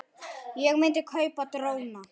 Ég myndi kaupa dróna.